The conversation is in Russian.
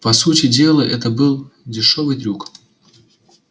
по сути дела это был дешёвый трюк